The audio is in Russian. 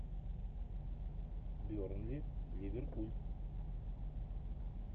бернли ливерпуль